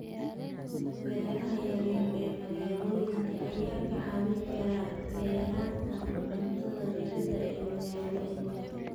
Beeraha yar yar ee magaalooyinka ayaa kaa caawin kara yaraynta cunto yarida ee magaalooyinka.